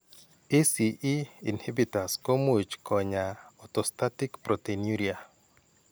ACE inhibitors komuch kony'aay orthostatic proteinuria.